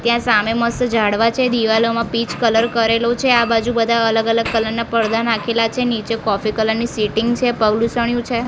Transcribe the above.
ત્યાં સામે મસ્ત ઝાડવા છે દીવાલોમાં પીચ કલર કરેલો છે આ બાજુ બધા અલગ અલગ કલર ના પરદા નાખેલા છે નીચે કોફી કલર ની સિટિંગ છે પગલૂછણ્યું છે.